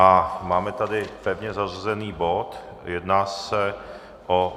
A máme tady pevně zařazený bod, jedná se o